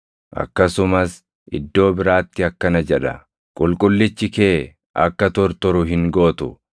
Akkasumas iddoo biraatti akkana jedha: “ ‘Qulqullichi kee akka tortoru hin gootu.’ + 13:35 \+xt Far 16:10\+xt*